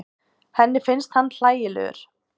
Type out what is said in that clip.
Henni finnst hann hlægilegur.